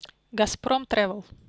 газпром тревэл